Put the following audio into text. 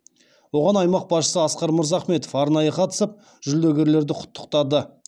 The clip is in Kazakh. оған аймақ басшысы асқар мырзахметов арнайы қатысып жүлдегерлерді құттықтады